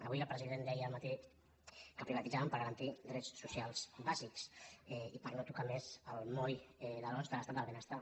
avui el president deia al matí que privatitzaven per garantir drets socials bàsics i per no tocar més el moll de l’os de l’estat del benestar